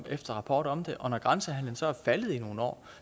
efter rapport om det og når grænsehandelen så er faldet i nogle år